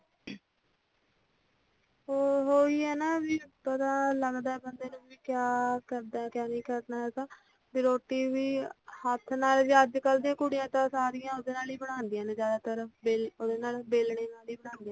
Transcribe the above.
ਉਹੋ ਹੀ ਆ ਨਾ ਥੋੜਾ ਲੱਗਦਾ ਬੰਦੇ ਨੂੰ ਕਯਾ ਕਰਨਾ ਕਯਾ ਨਹੀਂ ਕਰਨਾ ਹੈਗਾ ਰੋਟੀ ਵੀ ਹੱਥ ਨਾਲ ਹੀ ਅੱਜ ਕੱਲ ਦੀਆਂ ਕੁੜੀਆਂ ਤਾਂ ਸਾਰੀਆਂ ਹੀ ਉਹਦੇ ਨਾਲ ਬਣਾਉਦੀਆਂ ਨੇ ਜ਼ਿਆਦਾਤਰ ਵ ਉਹਦੇ ਨਾਲ਼ ਵੇਲਣੇ ਨਾਲ ਹੀ ਬਣਾਉਦੀਆਂ ਨੇ